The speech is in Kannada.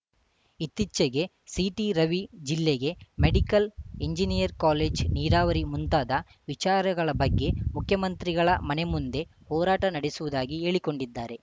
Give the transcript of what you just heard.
ಇತ್ತೀಚೆಗೆ ಸಿಟಿ ರವಿ ಜಿಲ್ಲೆಗೆ ಮೆಡಿಕಲ್‌ ಎಂಜಿನಿಯರ್‌ ಕಾಲೇಜ್‌ ನೀರಾವರಿ ಮುಂತಾದ ವಿಚಾರಗಳ ಬಗ್ಗೆ ಮುಖ್ಯಮಂತ್ರಿಗಳ ಮನೆ ಮುಂದೆ ಹೋರಾಟ ನಡೆಸುವುದಾಗಿ ಹೇಳಿಕೊಂಡಿದ್ದಾರೆ